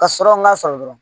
Ka sɔrɔ n k'a sɔrɔ dɔrɔn